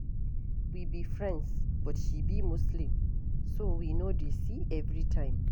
We be friends but she be Muslim so we no dey see every time